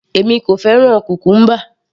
Èmi kò fẹ́ràn cucumber